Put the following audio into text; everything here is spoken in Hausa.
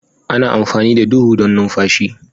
Ana amfani da huhu don numfashi.